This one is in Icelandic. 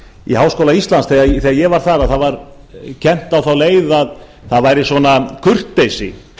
í háskóla íslands þegar ég var þar að það var kennt á þá leið að það væri svona kurteisi